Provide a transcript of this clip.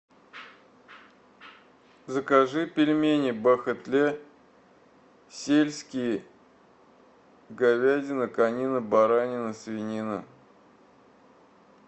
закажи пельмени бахетле сельские говядина конина баранина свинина